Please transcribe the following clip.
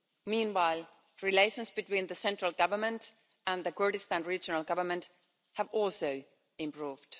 Meanwhile, relations between the central government and the Kurdistan Regional Government have also improved.